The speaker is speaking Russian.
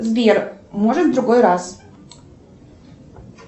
сбер может в другой раз